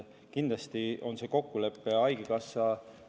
Kindlasti on see kokkulepe haigekassaga.